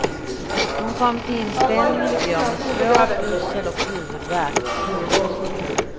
Hon kom till inspelningen i går med svår yrsel och huvudvärk. punkt